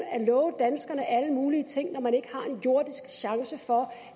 at love danskerne alle mulige ting når man ikke har en jordisk chance for